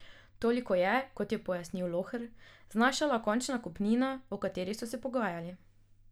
Toliko je, kot je pojasnil Lohr, znašala končna kupnina, o kateri so se pogajali.